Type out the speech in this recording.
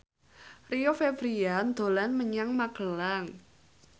Rio Febrian dolan menyang Magelang